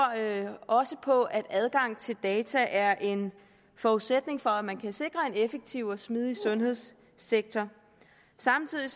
også på at adgang til data er en forudsætning for at man kan sikre en effektiv og smidig sundhedssektor samtidig